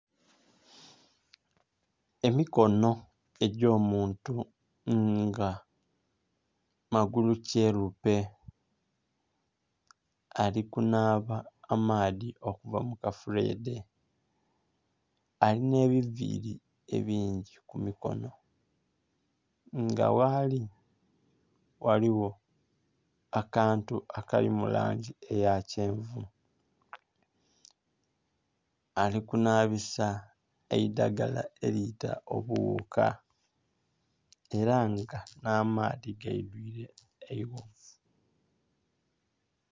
Emikono egy'omuntu nga magulukyerupe, ali kunaaba amaadhi okuva mu kafuleedhe. Alina ebiviili bingi ku mikono, nga ghaali ghaligho akantu akali mu langi eya kyenvu. Ali kunaabisa eidhagala eliita obughuka ela nga nh'amaadhi gaidwile eighovu.